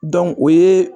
o ye